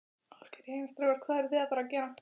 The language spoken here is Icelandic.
Ásgeir: Jæja, strákar, hvað eruð þið að fara að gera?